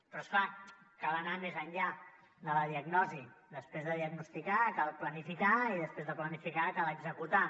però és clar cal anar més enllà de la diagnosi després de diagnosticar cal planificar i després de planificar cal executar